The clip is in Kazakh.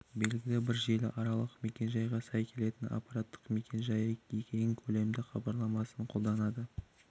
белгілі бір желі аралық мекен-жайға сай келетін аппараттық мекен-жайы кең көлемді хабарламасын қолданады